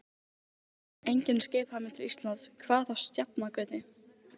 Enginn skipaði mér til Íslands, hvað þá á Sjafnargötu.